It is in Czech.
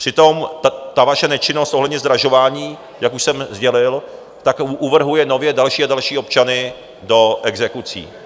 Přitom ta vaše nečinnost ohledně zdražování, jak už jsem sdělil, tak uvrhuje nově další a další občany do exekucí.